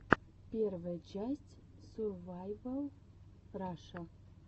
первая часть сурвайвал раша